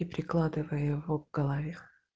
и прикладывая его к голове